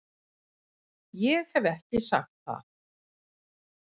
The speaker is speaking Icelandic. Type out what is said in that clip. Ég hef ekki sagt það!